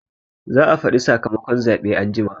Za a faɗi sakamakon zaɓe anjima